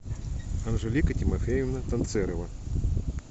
анжелика тимофеевна танцерова